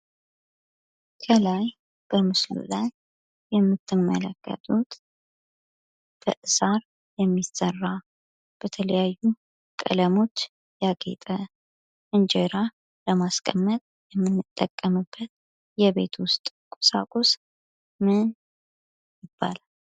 ከላይ በምስሉ ላይ የምትመለከቱት ከሳር የሚሰራ፣ በተለያዩ ቀለሞች ያጌጠ፣ እንጀራ ለማስቀመጥ የምንጠቀምበት የቤት ዉስጥ ቁሳቁስ ምን በመባል ይታወቃል?